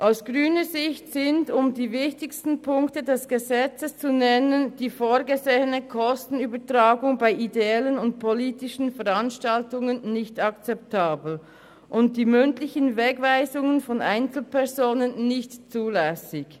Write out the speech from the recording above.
Aus grüner Sicht sind, um die wichtigsten Punkte des Gesetzes zu nennen, die vorgesehene Kostenübertragung bei ideellen und politischen Veranstaltungen nicht akzeptabel und die mündlichen Wegweisungen von Einzelpersonen nicht zulässig.